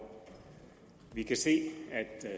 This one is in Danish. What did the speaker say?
vi kan se at